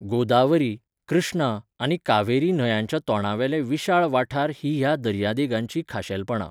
गोदावरी, कृष्णा आनी कावेरी न्हंयांच्या तोंडावेले विशाळ वाठार हीं ह्या दर्यादेगांचीं खाशेलपणां.